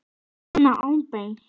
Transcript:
Svona óbeint.